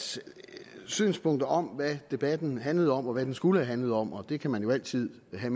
synspunkter om hvad debatten handlede om og hvad den skulle have handlet om og det kan man jo altid have